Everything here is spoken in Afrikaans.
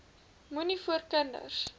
moenie voor kinders